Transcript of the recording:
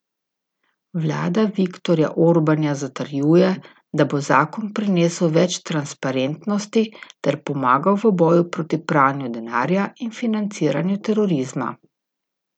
Vlada Viktorja Orbana zatrjuje, da bo zakon prinesel več transparentnosti ter pomagal v boju proti pranju denarja in financiranju terorizma.